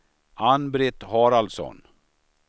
Ann-Britt Haraldsson